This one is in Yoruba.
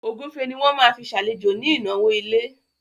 Ògúnfe ni wọ́n máa fi ṣàlejò ní ìnáwó ilé